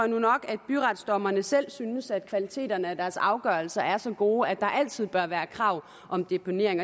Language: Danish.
nu nok at byretsdommerne selv synes at kvaliteten af deres afgørelser er så god at der altid bør være krav om deponering